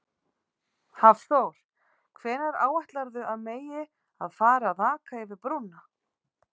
Hafþór: Hvenær áætlarðu að megi að fara að aka yfir brúna?